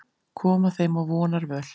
Koma þeim á vonarvöl.